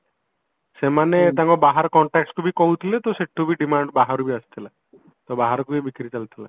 ସେମାନେ ତାଙ୍କ ବାହାର contactsକୁ ବି କହୁଥିଲେ ତ ସେଠୁ ବି demand ବାହାରୁ ବି ଆସୁଥିଲା ତ ବାହାରକୁ ବି ବିକ୍ରି ଚାଲିଥିଲା